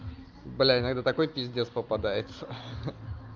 блин это такой пиздец попадается